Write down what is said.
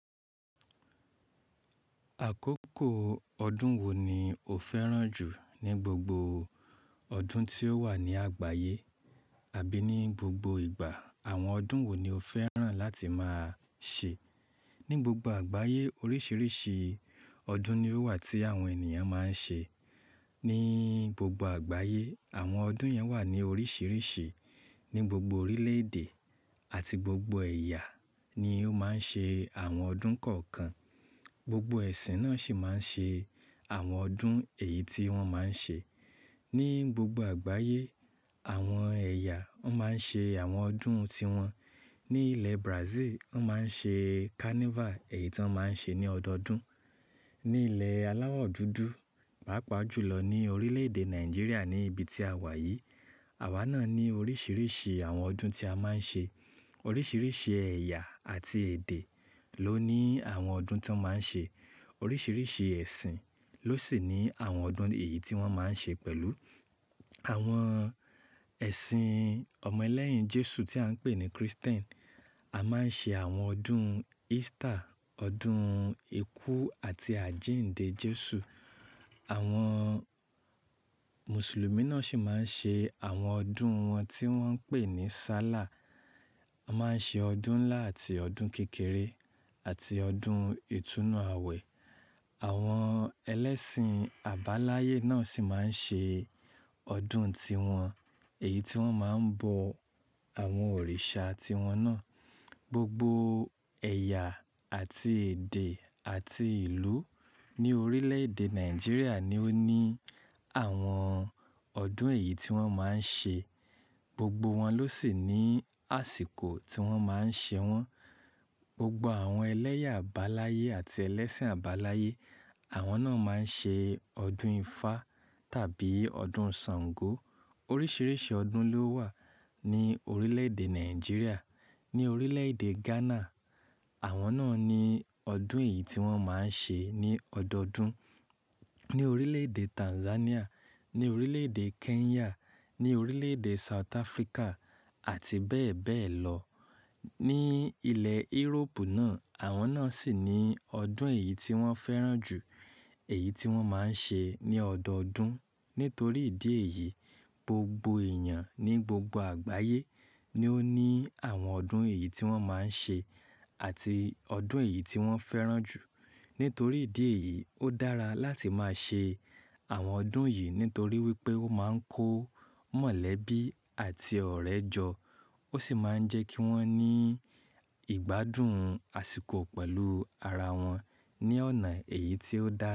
Àkókò ọdún wo ni o fẹ́ràn jù ní gbogbo ọdún tí ó wà ní àgbáyé? Àbí ní gbogbo ìgbà, àwọn ọdún wo ni o fẹ́ràn láti máa ṣe? Ní gbogbo àgbáyé oríṣiríṣi ọdún ni ó wà tí àwọn ènìyàn máa ń ṣe. Ní gbogbo àgbáyé àwọn ọdún yẹn wà ní oríṣiríṣi. Ní gbogbo orílẹ̀ èdè àti gbogbo ẹ̀yà ni ó máa ń ṣe àwọn ọdún kọ̀ọ̀kan. Gbogbo ẹ̀sìn náà sì máa ń ṣe àwọn ọdún èyí tí wọ́n máa ń ṣe. Ní gbogbo àgbáyé àwọn ẹ̀yà máa ń ṣe àwọn ọdún tiwọn. Ní ilẹ̀ Brazil, wọn máa ń ṣe carnival èyí tí wọ́n máa ń ṣe ní ọdọọdún. Ní ilẹ̀ aláwọ̀ dúdú, pàápàá jù lọ ní orílẹ̀ èdè Nàìjíríà ní ibi tí a wà yìí, àwa náà ní oríṣiríṣi àwọn ọdún tí a máa ń ṣe. Oríṣiríṣi ẹ̀yà àti èdè ló ní àwọn ọdún tí wọ́n máa ń ṣe. Oríṣiríṣi ẹ̀sìn ló sì ní àwọn ọdún èyí tí wọ́n máa ń ṣe pẹ̀lú. Àwọn ẹ̀sìn ọmọ ẹlẹ́yìn Jésù tí à ń pè ní Kristẹ́nì, a máa ń ṣe àwọn ọdún Easter, ọdún ikú àti àjíǹde Jésù. Àwọn Mùsùlùmí náà sì máa ń ṣe àwọn ọdún wọn tí wọ́n ń pè ní Sálà. A máa ń ṣe ọdún ńlá àti ọdún kékeré àti ọdún ìtúnu àwẹ̀. Àwọn ẹlẹ́sìn àbáláyé náà sì máa ń ṣe ọdún tiwọn èyí tí wọ́n máa ń bọ àwọn òrìṣà tiwọn náà. Gbogbo ẹ̀yà àti èdè àti ìlú ní orílẹ̀ èdè Nàìjíríà ni ó ní àwọn ọdún èyí tí wọ́n máa ń ṣe. Gbogbo wọn ló sì ní àsìkò tí wọ́n máa ń ṣe wọ́n. Gbogbo àwọn ẹlẹ́yà àbáláyé àti ẹlẹ́sìn àbáláyé, àwọn náà máa ń ṣe ọdún ifá tàbí ọdún Sàngó. Oríṣiríṣi ọdún ló wà ní orílẹ̀ èdè Nàìjíríà, ní orílẹ̀ èdè Ghana. Àwọn náà ní ọdún èyí tí wọ́n máa ń ṣe ní ọdọọdún. Ní orílẹ̀ èdè Tanzania, ní orílẹ̀ èdè Kenya, ní orílẹ̀ èdè South Africa àti bẹ́ẹ̀ bẹ́ẹ̀ lọ. Ní ilẹ̀ Ìróòpù náà, àwọn náà sì ní ọdún èyí tí wọ́n fẹ́ràn jù, èyí tí wọ́n máa ń ṣe ní ọdọọdún. Nítorí ìdí èyí, gbogbo èèyàn ní gbogbo àgbáyé ni ó ní àwọn ọdún èyí tí wọ́n máa ń ṣe àti ọdún èyí tí wọ́n fẹ́ràn jù. Nítorí ìdí èyí, ó dára láti máa ṣe àwọn ọdún yìí nítorí wípé ó máa ń kó mọ̀lẹ́bí àti ọ̀rẹ́ jọ. Ó sì máa ń jẹ́ kí wọ́n ní ìgbádùn àsìkò pẹ̀lú ara wọn ní ọ̀nà èyí tí ó dára.